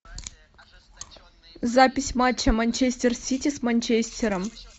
запись матча манчестер сити с манчестером